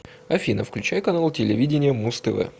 афина включай канал телевидения муз тв